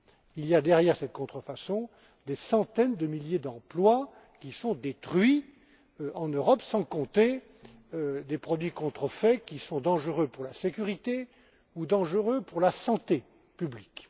Il y a derrière cette contrefaçon des centaines de milliers d'emplois qui sont détruits en Europe, sans compter que certains produits contrefaits sont dangereux pour la sécurité ou pour la santé publique.